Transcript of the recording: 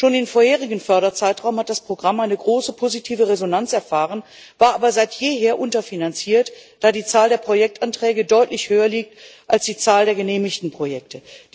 Schon im vorherigen Förderzeitraum hat das Programm eine große positive Resonanz erfahren, war aber seit jeher unterfinanziert, da die Zahl der Projektanträge deutlich höher liegt als die Zahl der genehmigten Projekte.